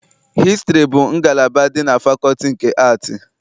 Hịstrị bụ ngalaba dị na fakọlti nke Aatị.